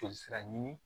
Joli sira ɲini